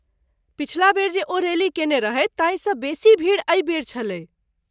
पछिला बेर जे ओ रैली केने रहथि ताहिसँ बेसी भीड़ एहि बेर छलै।